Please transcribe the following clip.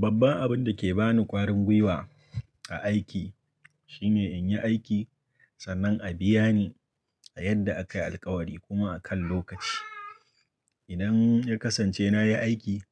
Babban abin da ke ba ni ƙwarin gwiwa a aiki shine in yi aiki sannan a biya ni a yadda aka yi alkawari kuma a kan lokaci. Idan ya kasance na yi aiki